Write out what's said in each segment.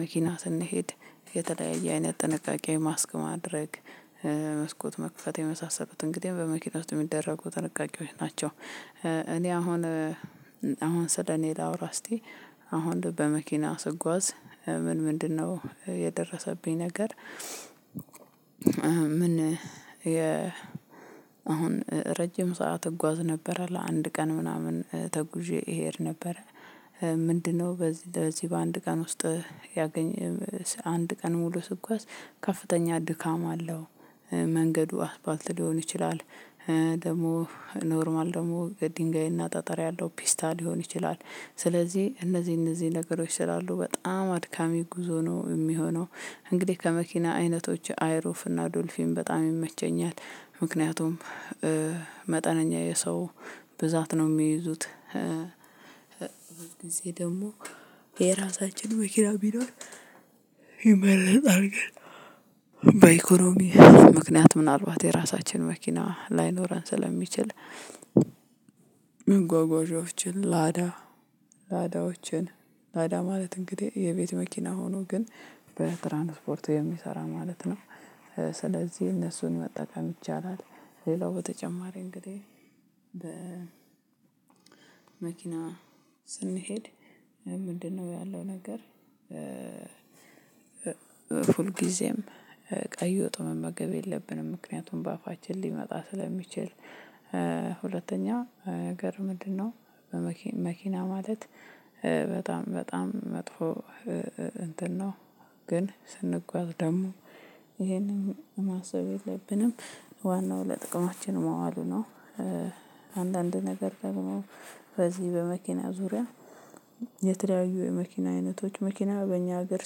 መኪና ስንሄድ የተለያየ አይነት ጥንቃቄ ማስክ ማድረግ መስኮት መክፈት የመሳሰሉትን እንግዲህ በመኪና ውስጥ የሚደረጉ ጥንቃቄዎች ናቸው። እኔ አሁን አሁን ስለእኔ ላውራ እስቲ አሁን በመኪና ስጓዝ ምን ምንድንነው የደረሰብኝ ነገር? ምን የአሁን ረጅም ሰዓት እጓዝ ነበር ለአንድ ቀን ምናምን ተጉዤ እሄድ ነበር። ምንድንነው በዚህ ለዚህ በአንድ ቀን ውስጥ ያገኘ ስ አንድ ቀን ሙሉ ስጓዝ ከፍተኛ ድካም አለው። መንገዱ አስፋልት ሊሆን ይችላል። ደግሞ ኖርማል ደግሞ ድንጋይና ጠጠር ያለው ፒስታ ሊሆን ይችላል። ስለዚህ እነዚህ እነዚህ ነገሮች ስላሉ በጣም አድካሚ ጉዞ ነው የሚሆነው። እንግዲህ ከመኪና አይነቶች አይሩፍ እና ዶልፊን በጣም ይመቸኛል ምክንያቱም መጠነኛ የሰው ብዛት ነው የሚይዙት። ጊዜ ደግሞ የራሳችን መኪና ቢኖር ይመረጣል። ግን በኢኮኖሚ ምክንያት ምናልባት የራሳችን መኪና ላይኖረን ስለሚችል። መጓጓዣዎችን ላዳ ላዳዎችን ላዳ ማለት እንግዲህ የቤት መኪና ሆኖ ግን በትራንስፖርት የሚሰራ ማለት ነው። ስለዚህ እነሱን መጠቀም ይቻላል። ሌላው በተጨማሪ እንግዲህ በመኪና ስንሄድ ምንድንነው ያለው ነገር? ሁልጊዜም ቀይ ወጥ መመገብ የለብንም ምክንያቱም በአፋችን ሊመጣ ስለሚችል። ሁለተኛ ነገር ምንድንነው? በመኪ መኪና ማለት በጣም በጣም መጥፎ እንትን ነው። ግን ስንጓዝ ደግሞ ይሄንን ማሰብ የለብንም። ዋናው ለጥቅማችን መዋሉ ነው። አንዳንድ ነገር ደግሞ ከዚህ በመኪና ዙሪያ የተለያዩ የመኪና አይነቶች መኪና በእኛ ሀገር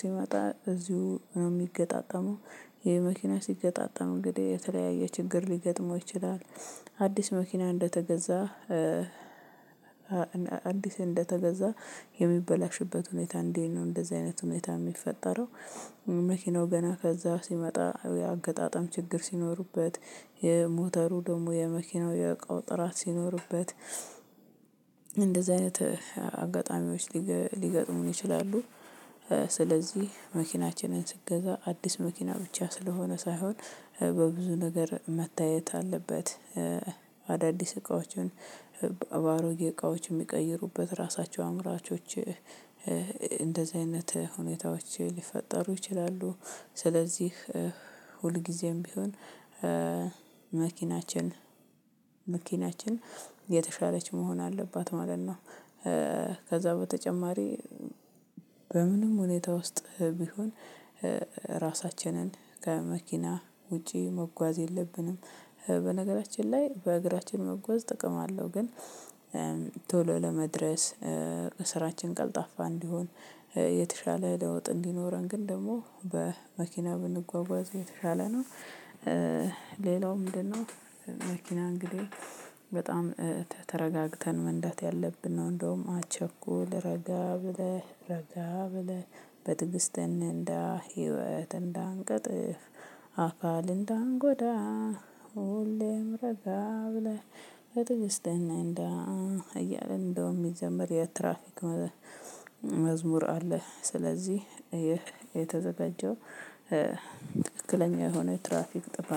ሲመጣ እዚሁ ነው የሚገጣጠመው። ይሄ መኪና ሲገጣጠም እንግዲህ የተለያየ ችግር ሊገጥመው ይችላል። አዲስ መኪና እንደተገዛ አዲስ እንደተገዛ የሚበላሽበት ሁኔታ እንዲህ ነው እንደዚህ አይነት ሁኔታ የሚፈጠረው። መኪናው ገና ከዛ ሲመጣ የአገጣጣም ችግር ሲኖርበት የሞተሩ ደግሞ የመኪናው የእቃው ጥራት ሲኖርበት እንደዚህ አይነት አጋጣሚዎች ሊገ ሊገጥሙን ይችላሉ። ስለዚህ መኪናችንን ስንገዛ አዲስ መኪና ብቻ ስለሆነ ሳይሆን በብዙ ነገር መታየት አለበት። አዳዲስ እቃዎችን በአሮጌ እቃዎች የሚቀይሩበት ራሳቸው አምራቾች እንደዚህ አይነት ሁኔታዎች ሊፈጠሩ ይችላሉ። ስለዚህ ሁልጊዜም ቢሆን መኪናችን መኪናችን የተሻለች መሆን አለባት ማለት ነው። ከዛ በተጨማሪ በምንም ሁኔታ ውስጥ ቢሆን ራሳችንን ከመኪና ውጪ መጓዝ የለብንም። በነገራችን ላይ በእግራችን መጎዝ ጥቅም አለው ግን ቶሎ ለመድረስ ስራችን ቀልጣፋ እንዲሆን የተሻለ ለውጥ እንዲኖረን ግን ደግሞ በመኪና ብንጓጓዝ የተሻለ ነው። ሌላው ምንድንነው? መኪና እንግዲህ በጣም ተ ተረጋግተን መንዳት ያለብን ነው እንደውም አትቸኩል ረጋ ብለህ ረጋ ብለህ በትግስትን እንንዳ ህይወት እንዳንቀጥፍ። አካል እንዳንጎዳ። ሁሌም ረጋ ብለህ በትግስት እንንዳ። እያለ እንደውም የሚዘመር የትራፊክ መዝሙር አለ። ስለዚህ ይህ የተዘጋጀው ትክክለኛ የሆነ ትራፊክ ጥበቃ